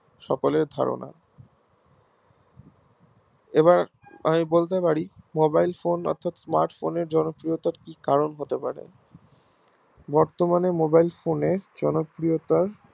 সকলের ধারণা এবার আমি বলতে পারি mobile phone অর্থাৎ smart Phone এর জনপ্রিয়তার কি কারণ হতে পারে বর্তমানে mobile phone জনপ্রিয়তার